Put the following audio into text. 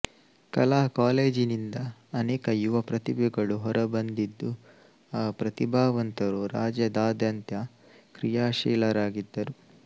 ಕಲಾ ಕಾಲೇಜಿನಿಂದ ಅನೇಕ ಯುವ ಪ್ರತಿಭೆಗಳು ಹೊರಬಂದಿದ್ದು ಆ ಪ್ರತಿಭಾವಂತರು ರಾಜ್ಯಾದ್ಯಂತ ಕ್ರಿಯಾಶೀಲರಾಗಿದ್ದಾರೆ